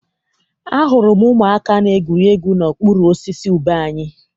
Ahụrụ m ụmụaka na-egwuri egwu n'okpuru osisi ube anyị.